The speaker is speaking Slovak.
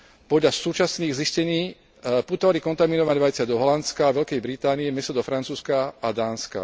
Podľa súčasných zistení putovali kontaminované vajcia do Holandska, Veľkej Británie, mäso do Francúzska a Dánska.